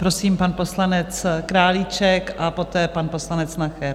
Prosím pan poslanec Králíček a poté pan poslanec Nacher.